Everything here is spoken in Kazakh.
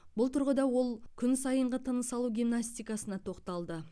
бұл тұрғыда ол күн сайынғы тыныс алу гимнастикасына тоқталды